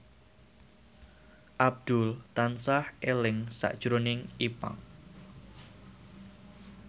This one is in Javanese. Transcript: Abdul tansah eling sakjroning Ipank